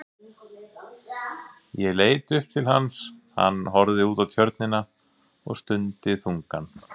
Ég leit upp til hans, hann horfði út á Tjörnina og stundi þungan.